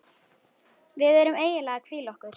Við erum eiginlega að hvíla okkur.